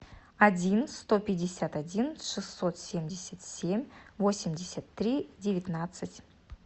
один сто пятьдесят один шестьсот семьдесят семь восемьдесят три девятнадцать